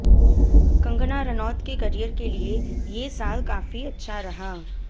कंगना रनौत के करियर के लिये ये साल काफी अच्छा रहा